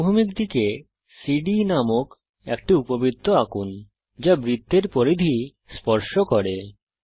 অনুভূমিক দিকে সিডিই নামক একটি উপবৃত্ত আঁকুন যা বৃত্তের পরিধি স্পর্শ করবে